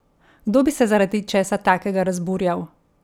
Kdo bi se zaradi česa takega razburjal?